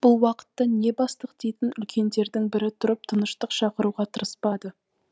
бұл уақытта не бастық дейтін үлкендердің бірі тұрып тыныштық шақыруға тырыспады